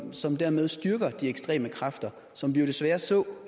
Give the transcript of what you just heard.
som dermed styrker de ekstreme kræfter som vi jo desværre så